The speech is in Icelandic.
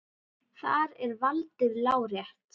Þar er valdið lárétt.